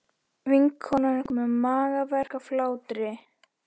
Vinkonan er komin með magaverk af hlátri.